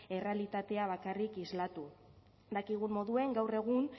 errealitatea bakarrik islatu dakigun moduen gaur egun